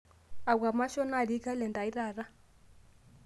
akua mashon naatii kalenda ai taata